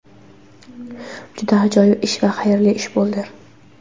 Juda ajoyib ish va xayrli ish bo‘ldi.